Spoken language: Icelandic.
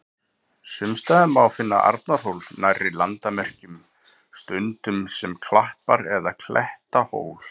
Sums staðar má finna Arnarhól nærri landamerkjum, stundum sem klappar- eða klettahól.